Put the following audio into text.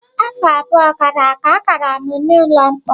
Afọ abụọ gara aga, agara m n'ụlọ mkpọrọ.